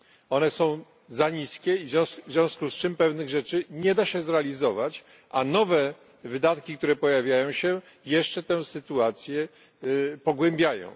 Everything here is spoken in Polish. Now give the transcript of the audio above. One są za niskie i w związku z tym pewnych rzeczy nie da się zrealizować, a nowe wydatki, które pojawiają się, jeszcze tę sytuację pogarszają.